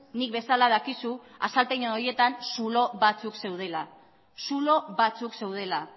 nik bezala dakizu azalpen horietan zulo batzuek zeudela zulo batzuk zeudela